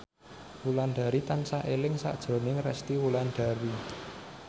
Wulandari tansah eling sakjroning Resty Wulandari